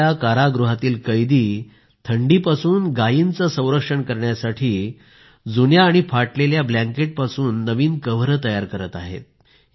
तिथल्या कारागृहातील कैदी थंडीपासून गायींचे संरक्षण करण्यासाठी जुन्या व फाटलेल्या ब्लँकेपासून नवीन कवर तयार करत आहेत